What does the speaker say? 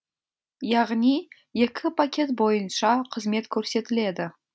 яғни екі пакет бойынша қызмет көрсетіледі